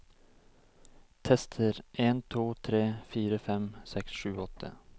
Tester en to tre fire fem seks sju åtte